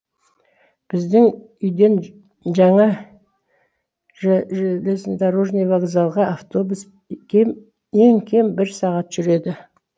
біздің үйден жаңа железнодорожный вокзалға автобус ең кем бір сағат жүреді